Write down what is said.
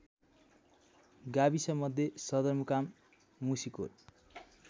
गाविसमध्ये सदरमुकाम मुसिकोट